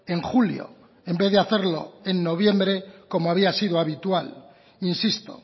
en julio en vez de hacerlo en noviembre como había sido habitual insisto